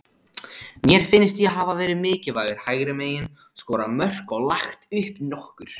Mér finnst ég hafa verið mikilvægur hægra megin, skorað mörk og lagt upp nokkur.